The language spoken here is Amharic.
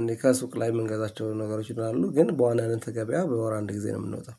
እንድ ከሱቅ ላይ የምንገዛቸው ነገሮች ይኖራሉ። ግን በዋናነት ገቢያ በወር አንድ ጊዜ ነው የምንወጣው